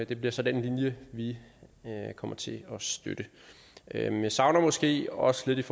det bliver så den linje vi kommer til at støtte men jeg savner måske også lidt